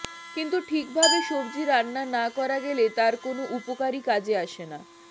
কিন্তু ঠিক ভাবে সবজি রান্না না করা গেলে তার কোনও উপকারই কাজে আসে না